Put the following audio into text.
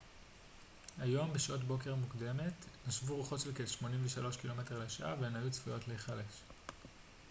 היום בשעת בוקר מוקדמת נשבו רוחות של כ-83 קמ ש והן היו צפויות להיחלש